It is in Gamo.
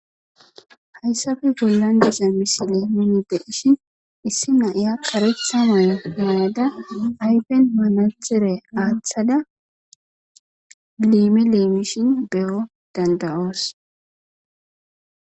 hayssabe gollan dica misile mini de ishin issi naiya karectha moye ma7ada hayfen manachere aaththada liime leimishin beyo dandayoos